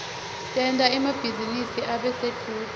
tenta emabhizinisi abe sedvute